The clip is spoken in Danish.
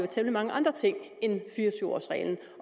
temmelig mange andre ting end fire og tyve års reglen